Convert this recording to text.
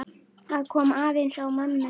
Það kom aðeins á mömmu.